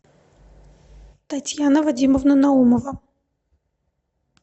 татьяна вадимовна наумова